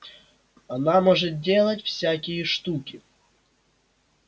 она может делать всякие штуки